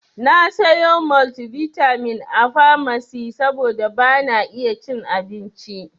Na sayo maltivitamin a famasi saboda bana iya cin abincin.